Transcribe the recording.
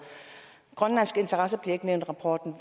grønlandske interesser bliver ikke nævnt i rapporten